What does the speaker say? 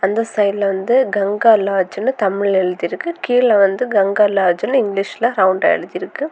அந்த சைடுல வந்து கங்கா லாட்ஜ்னு தமிழ்ல எழுதி இருக்கு கீழ வந்து கங்கா லாட்ஜ்னு இங்கிலீஷ்ல ரவுண்டா எழுதி இருக்கு.